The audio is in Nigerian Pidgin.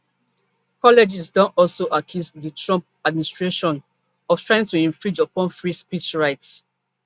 colleges don also accuse di trump administration of trying to infringe upon free speech rights